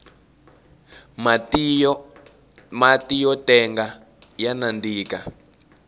matiyo tenga ya nandika